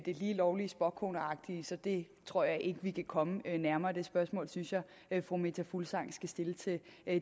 lige lovlig spåkoneagtige så det tror jeg ikke vi kan komme nærmere det spørgsmål synes jeg jeg fru meta fuglsang skal stille til